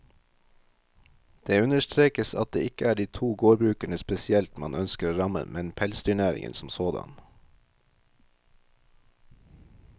Det understrekes at det ikke er de to gårdbrukerne spesielt man ønsker å ramme, men pelsdyrnæringen som sådan.